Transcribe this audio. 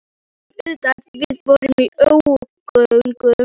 Við vissum auðvitað að við vorum í ógöngum.